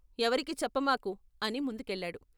ఎవరికీ చెప్పమాకు ' అని ముందుకెళ్ళాడు.